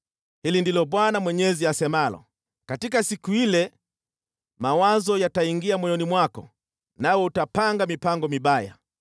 “ ‘Hili ndilo Bwana Mwenyezi asemalo: Katika siku ile mawazo yataingia moyoni mwako nawe utapanga mipango mibaya.